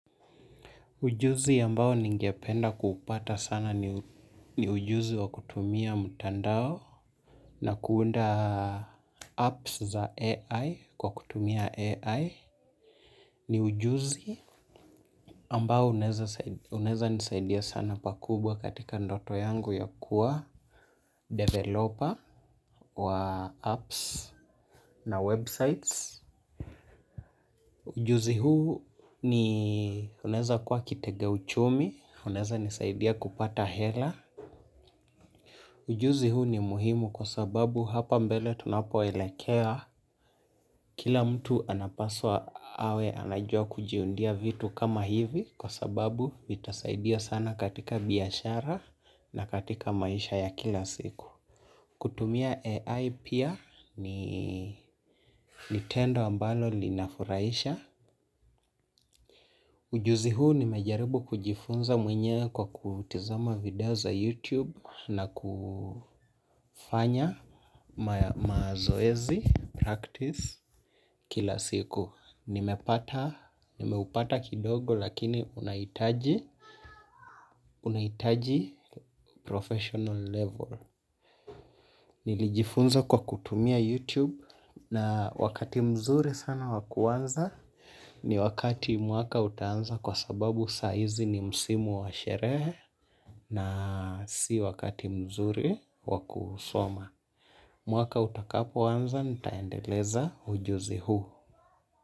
Ujuzi ambao ningependa kupata sana. Ujuzi wa kutumia mtandao na kuunda apps za AI kwa kutumia AI ni ujuzi ambao unaweza nisaidia sana pakubwa katika ndoto yangu ya kuwa developer wa apps na websites. Ujuzi huu ni unaweza kuwa kitega uchumi, unaweza nisaidia kupata hela. Ujuzi huu ni muhimu kwasababu hapa mbele tunapoelekea kila mtu anapaswa awe anajua kujiundia vitu kama hivi kwasababu vitasaidia sana biashara na katika maisha ya kila siku. Kutumia AI pia ni tendo ambalo linafurahisha. Ujuzi huu nimejaribu kujifunza mwenyewe kwa kutizama video za YouTube na kufanya mazoezi practice kila siku. Nimepata, nimeupata kidogo lakini unahitaji, unahitaji professional level. Nilijifunza kwa kutumia YouTube na wakati mzuri sana wa kuanza ni wakati mwaka utaanza kwa sababu saa hizi ni msimu wa sherehe na si wakati mzuri wa kusoma. Mwaka utakapoanza nitaendeleza ujuzi huu.